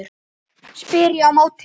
spyr ég á móti.